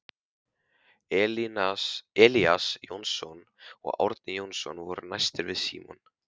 Elías Jónsson og Árni Jónsson voru næstir við Símon.